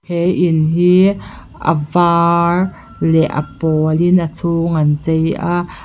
he in hi a vâr leh a pâwlin a chhûng an chei a.